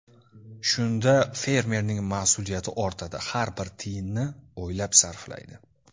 Shunda fermerning mas’uliyati ortadi, har bir tiyinni o‘ylab sarflaydi.